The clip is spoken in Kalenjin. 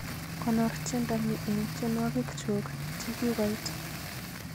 Konoor tyendo ni eng tyenwogik chuk chegigoit